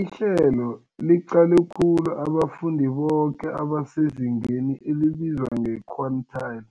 Ihlelo liqale khulu abafundi boke abasezingeni elibizwa nge-quintile